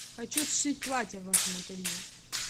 хочу сшить платье в вашем ателье